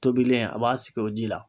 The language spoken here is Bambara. Tobilen a b'a sigi o ji la